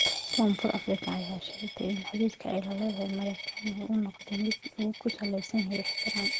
Koonfur Afrika ayaa sheegaya in xiriirka ay la leedahay Mareknia uu noqdo mid ku saleysan ixtiraam.